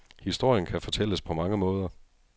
Historien kan fortælles på mange måder.